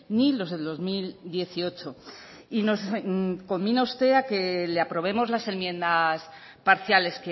ni los del dos mil dieciocho y nos conmina usted a que le aprobemos las enmiendas parciales